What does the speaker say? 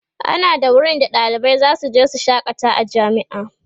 ana da wurin da ɗalibai zasu je su shakata a jami'a